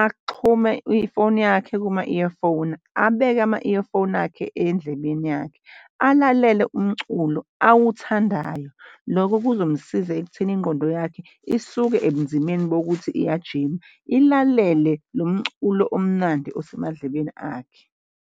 axhume ifoni yakhe kuma-earphone, abeke ama-earphone akhe endlebeni yakhe, alalele umculo awuthandayo. Lokho kuzomsiza ekutheni ingqondo yakhe isuke ebunzimeni bokuthi iyajima ilalele lo mculo omnandi osemadlebeni akhe.